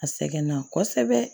A sɛgɛn na kosɛbɛ